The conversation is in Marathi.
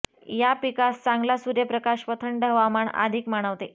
या पिकास चांगला सूर्यप्रकाश व थंड हवामान अधिक मानवते